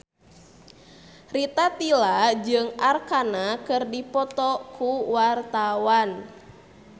Rita Tila jeung Arkarna keur dipoto ku wartawan